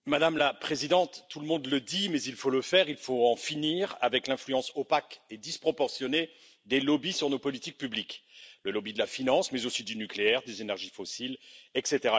Madame la Présidente, tout le monde le dit, mais il faut le faire il faut en finir avec l'influence opaque et disproportionnée des lobbies sur nos politiques publiques le lobby de la finance, mais aussi celui du nucléaire ou des énergies fossiles, etc.